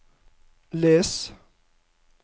les